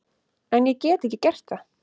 En ég get ekki gert það.